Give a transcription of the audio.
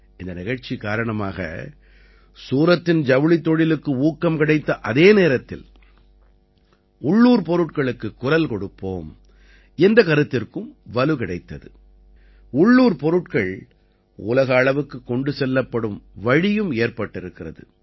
இந்த நிகழ்ச்சி காரணமாக சூரத்தின் ஜவுளித் தொழிலுக்கு ஊக்கம் கிடைத்த அதே நேரத்தில் உள்ளூர்ப் பொருட்களுக்குக் குரல் கொடுப்போம் என்ற கருத்திற்கும் வலு கிடைத்தது உள்ளூர் பொருட்கள் உலக அளவுக்குக் கொண்டு செல்லப்படும் வழியும் ஏற்பட்டிருக்கிறது